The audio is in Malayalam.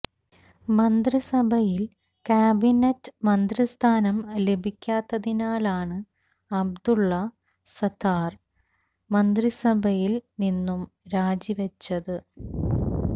മന്ത്രിസഭയില് കാബിനെറ്റ് മന്ത്രിസ്ഥാനം ലഭിക്കാത്തതിനാലാണ് അബ്ദുള് സത്താര് മന്ത്രിസഭയില് നിന്നും രാജിവെച്ചത്